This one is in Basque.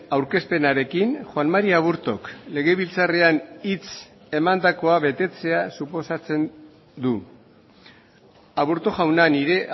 aurkezpenarekin juan mari aburtok legebiltzarrean hitz emandakoa betetzea suposatzen du aburto jauna nire